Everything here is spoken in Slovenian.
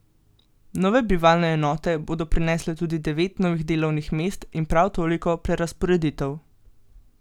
Nove bivalne enote bodo prinesle tudi devet novih delovnih mest in prav toliko prerazporeditev.